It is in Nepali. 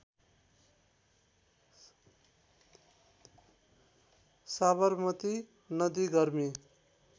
साबरमती नदी गर्मी